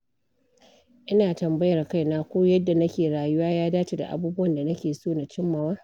Ina tambayar kaina ko yadda nake rayuwa ya dace da abubuwan da nake so na cimmawa.